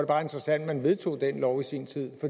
bare interessant at man vedtog den lov i sin tid